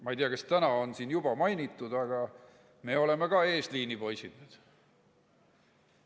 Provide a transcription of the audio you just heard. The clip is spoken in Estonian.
Ma ei tea, kas siin on täna seda juba mainitud, aga me oleme eesliini poisid.